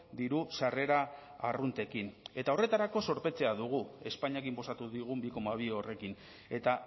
diru sarrera arruntekin eta horretarako zorpetzea dugu espainiak inposatu digun bi koma bi horrekin eta